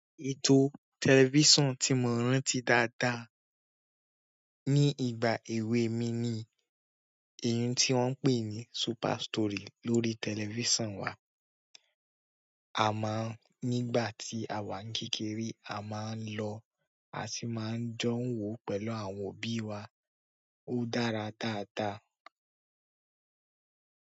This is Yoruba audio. Ètò tẹlifíṣàn tí mo rántí dáadáa ní ìgbà èwe mi ni èyí tí wọ́n ń pè ní Super Story lórí tẹlifísàn wa. A máa ń, nígbà tí àwa kékeré a máa ń lọ a sì máa ń jó wò pẹ̀lú àwọn òbí wa. Ó dára dáadáa.